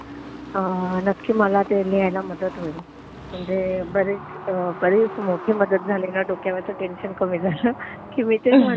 नक्की मला ते लिहायला मदत होईल. म्हणजे म्हणजे बरीच मोठी मदत झाली न तर डोक्यावरचं टेंशन कामी झालं की मी तेच म्हणत होते,